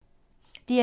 DR2